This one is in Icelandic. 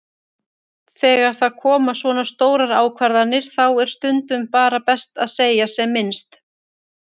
Þegar það koma svona stórar ákvarðanir þá er stundum bara best að segja sem minnst.